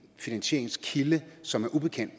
finansieringskilde som er ubekendt